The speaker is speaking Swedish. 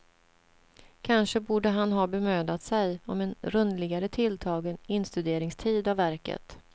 Kanske borde han ha bemödat sig om en rundligare tilltagen instuderingstid av verket.